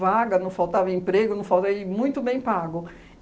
vaga, não faltava emprego, não falei e muito bem pago.